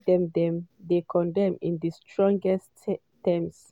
wey dem dem condemn in di strongest terms.